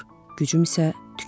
Gücüm isə tükənir.